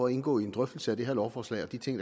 at indgå i en drøftelse af det her lovforslag og de ting